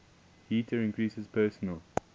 heater increases personal